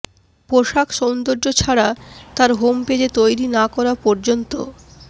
পোষাক সৌন্দর্য ছাড়া তার হোম পেজে তৈরি না করা পর্যন্ত